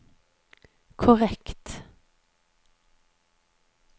korrekt